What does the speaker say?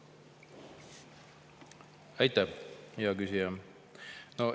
Aitäh, hea küsija!